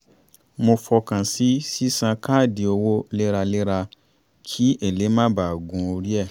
mo fọkàn sí sísan káàdì owó léraléra kí èlé má ba à gun orí ẹ̀